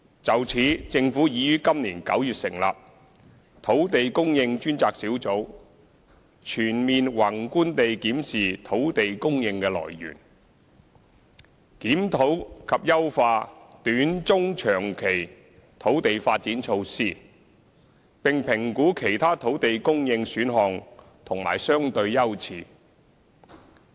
就此，政府已於今年9月成立土地供應專責小組，全面宏觀地檢視土地供應的來源，檢討及優化短、中及長期土地發展措施，並評估其他土地供應選項及相對優次。